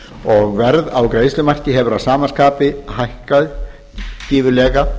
og verð á greiðslumarki hefur að sama skapi hækkað gífurlega